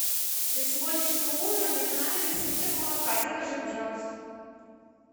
для сегодняшнего ужина мне понадобится литр молока закажи пожалуйста